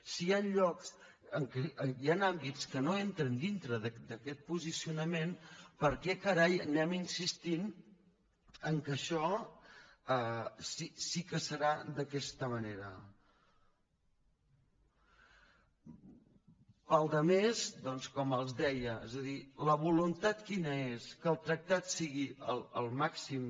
si hi han llocs hi han àmbits que no entren dintre d’aquest posicionament per què carai anem insistint que això sí que serà d’aquesta manera per la resta doncs com els deia és a dir la voluntat quina és que el tractat sigui el màxim